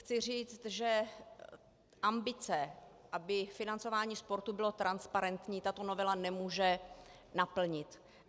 Chci říci, že ambice, aby financování sportu bylo transparentní, tato novela nemůže naplnit.